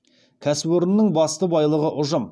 кәсіпорынның басты байлығы ұжым